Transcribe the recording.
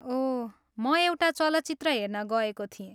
ओह, म एउटा चलचित्र हेर्न गएको थिएँ।